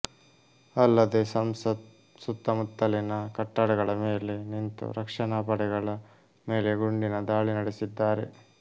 ಅಲ್ಲದೆ ಸಂಸತ್ ಸುತ್ತಮುತ್ತಲಿನ ಕಟ್ಟಡಗಳ ಮೇಲೆ ನಿಂತು ರಕ್ಷಣಾ ಪಡೆಗಳ ಮೇಲೆ ಗುಂಡಿನ ದಾಳಿ ನಡೆಸಿದ್ದಾರೆ